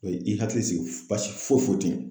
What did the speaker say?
O ye i hakili sigi basi foyi foyi ten yen